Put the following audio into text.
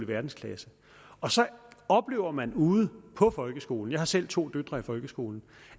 verdensklasse og så oplever man ude på folkeskolen jeg har selv to døtre i folkeskolen